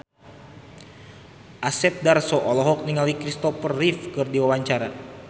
Asep Darso olohok ningali Christopher Reeve keur diwawancara